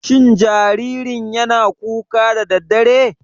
Shin jaririn yana kuka da daddare?